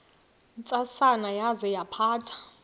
ntsasana yaza yaphatha